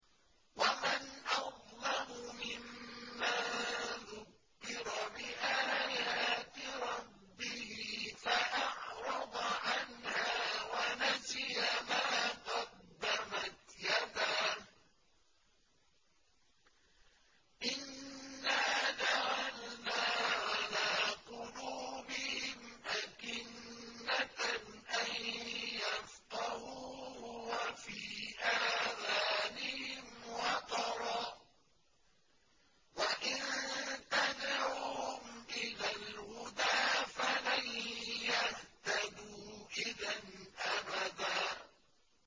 وَمَنْ أَظْلَمُ مِمَّن ذُكِّرَ بِآيَاتِ رَبِّهِ فَأَعْرَضَ عَنْهَا وَنَسِيَ مَا قَدَّمَتْ يَدَاهُ ۚ إِنَّا جَعَلْنَا عَلَىٰ قُلُوبِهِمْ أَكِنَّةً أَن يَفْقَهُوهُ وَفِي آذَانِهِمْ وَقْرًا ۖ وَإِن تَدْعُهُمْ إِلَى الْهُدَىٰ فَلَن يَهْتَدُوا إِذًا أَبَدًا